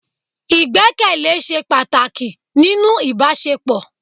Ìgbẹ́kẹ̀lé se pàtàkì nínú ìbásepọ